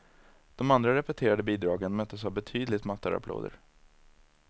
De andra repeterade bidragen möttes av betydligt mattare applåder.